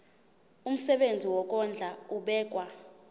umsebenzi wokondla ubekwa